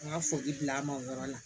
N ka foli bila an ma o yɔrɔ la